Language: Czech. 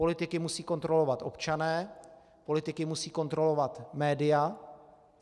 Politiky musí kontrolovat občané, politiky musí kontrolovat média.